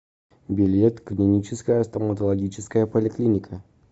билет клиническая стоматологическая поликлиника